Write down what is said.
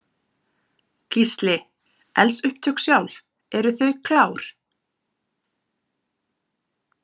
Gísli: Eldsupptök sjálf, eru þau klár?